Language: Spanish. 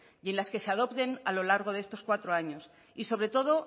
y en las que se adopten a lo largo de estos cuatro años y sobre todo